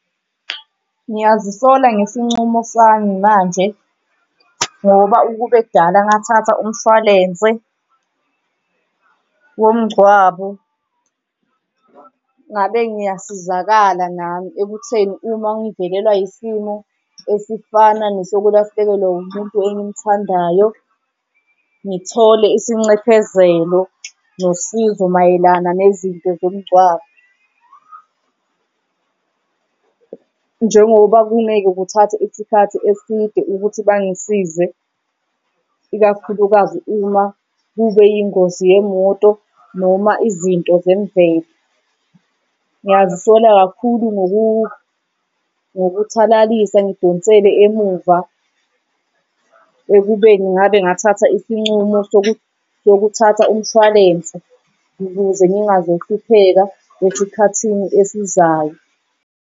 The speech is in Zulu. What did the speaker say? Ngiyazisola ngesincumo sami manje ngoba ukube kudala ngathatha umshwalense womngcwabo ngabe ngiyasizakala nami ekutheni uma ngivelelwa isimo esifana nesokulahlekelwa umuntu engimthandayo ngithole isinxephezelo nosizo mayelana nezinto zomngcwabo, njengoba kungeke kuthathe isikhathi eside ukuthi bangisize, ikakhulukazi uma kube yingozi yemoto noma izinto zemvelo. Ngiyazisola kakhulu ngokuthalalisa ngidonsele emuva ekubeni ngabe ngathatha isinqumo sokuthatha umshwalense ukuze ngingazuhlupheka esikhathini esizayo.